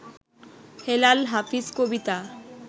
Helal Hafiz Kabita